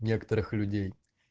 некоторых людей